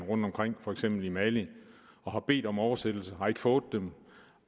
rundtomkring for eksempel i mali og har bedt om oversættelser men har ikke fået dem